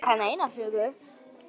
Ég kann eina sögu.